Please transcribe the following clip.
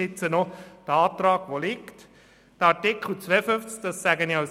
Ich sage dies als Emmentaler: